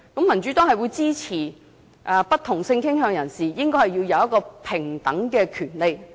民主黨支持不同性傾向人士享有平等權利。